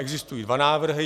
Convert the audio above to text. Existují dva návrhy.